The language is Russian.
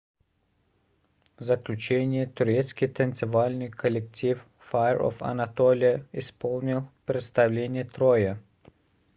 в заключение турецкий танцевальный коллектив fire of anatolia исполнил представление троя